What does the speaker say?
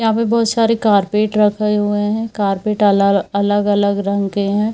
यहां पे बहुत सारे कारपेट रखे हुए हैं कारपेट के अलग-अलग रंग के है।